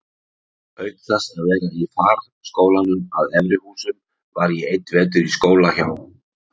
Auk þess að vera í farskólanum að Efri-Húsum var ég einn vetur í skóla hjá